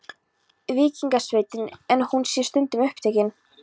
Víkingasveitin, en hún sé stundum upptekin.